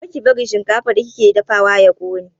Kar ki bari shinkafar da kike dafawa ya ƙone!